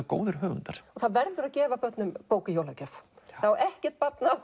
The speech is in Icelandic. góðir höfundar það verður að gefa börnum bók í jólagjöf ekkert barn á